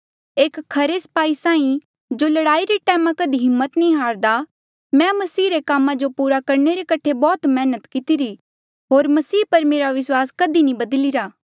एक खरे स्पाही साहीं जो लड़ाई रे टैम कधी हिम्मत नी हारदा मैं मसीह रे कामा जो पूरा करणे रे कठे बौह्त मेहनत कितिरी होर मसीह पर मेरा विस्वास कधी नी बदली रा